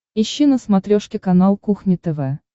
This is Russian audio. ищи на смотрешке канал кухня тв